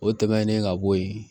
O tɛmɛnen ka bɔ yen